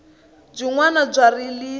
byinwani bya rilisa